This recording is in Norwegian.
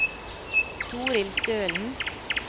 Toril Stølen